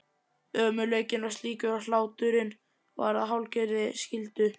Ömurleikinn var slíkur að hláturinn varð að hálfgerðri skyldu.